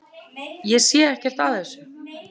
Ég sé ekkert að þessu.